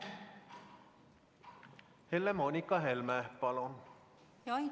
Helle-Moonika Helme, palun!